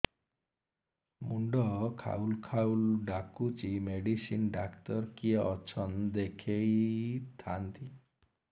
ମୁଣ୍ଡ ଖାଉଲ୍ ଖାଉଲ୍ ଡାକୁଚି ମେଡିସିନ ଡାକ୍ତର କିଏ ଅଛନ୍ ଦେଖେଇ ଥାନ୍ତି